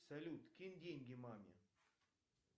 салют кинь деньги маме